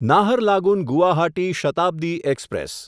Naharlagun Guwahati Shatabdi express